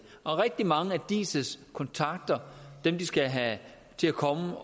og rigtig mange af diis kontakter dem de skal have til at komme